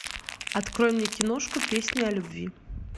открой мне киношку песни о любви